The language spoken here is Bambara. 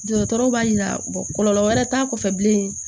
Dɔgɔtɔrɔ b'a jira kɔlɔlɔ wɛrɛ t'a kɔfɛ bilen